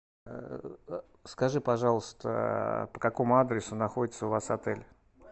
скажи пожалуйста по какому адресу находится у вас отель